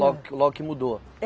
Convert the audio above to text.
Logo que logo que mudou.